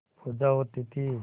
पूजा होती थी